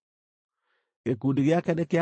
Gĩkundi gĩake nĩ kĩa andũ 32,200.